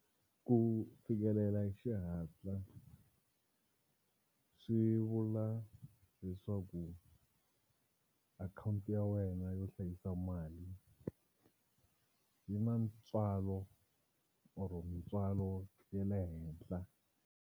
Ku fikelela hi xihatla swi vula leswaku akhawunti ya wena yo hlayisa mali yi na ntswalo or mintswalo ya le henhla.